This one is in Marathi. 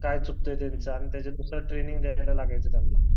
काय चुकतंय त्यांचं आणि त्यांच्यानुसार ट्रेनींग द्यायला लागायचं त्यांना.